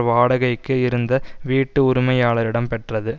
வாடகைக்கு இருந்த வீட்டு உரிமையாளரிடம் பெற்றது